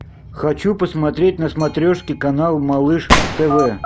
хочу посмотреть на смотрешке канал малыш тв